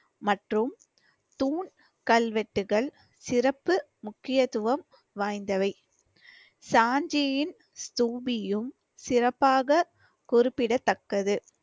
மற்றும் தூண் கல்வெட்டுகள் சிறப்பு முக்கியத்துவம் வாய்ந்தவை. சாஞ்சியின் ஸ்தூபியும் சிறப்பாக குறிப்பிடத்தக்கது.